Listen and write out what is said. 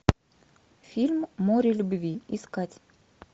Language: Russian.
фильм море любви искать